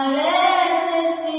Vande Mataram